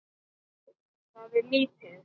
Það er lítið